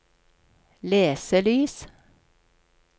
leselys